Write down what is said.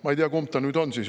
Ma ei tea, kumb ta nüüd on siis.